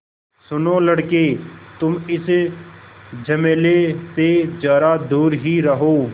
सुनो लड़के तुम इस झमेले से ज़रा दूर ही रहो